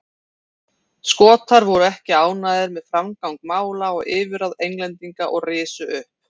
Skotar voru ekki ánægðir með framgang mála og yfirráð Englendinga og risu upp.